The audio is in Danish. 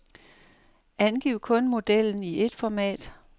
Angiv kun modellen i et format.